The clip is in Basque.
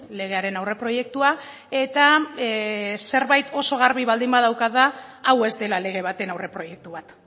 legearen aurre proiektua eta zerbait oso garbi baldin badaukat da hau ez dela lege baten aurreproiektu bat